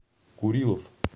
курилов